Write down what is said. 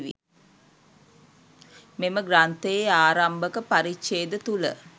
මෙම ග්‍රන්ථයේ ආරම්භක පරිච්ඡේද තුළ